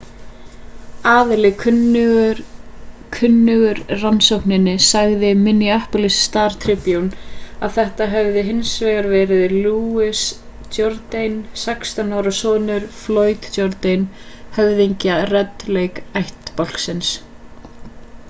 aðili kunnugur rannsókninni sagði minneapolis star-tribune að þetta hefði hins vegar verið louis jourdain 16 ára sonur floyd jourdain höfðingja red lake-ættbálksins